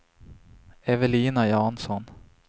Evelina Jansson